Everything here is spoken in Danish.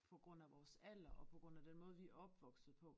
På grund af vores alder og på grund af den måde vi er opvokset på